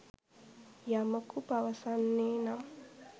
යමකු පවසන්නේ නම්